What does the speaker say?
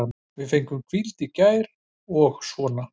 Við fengum hvíld í gær og svona.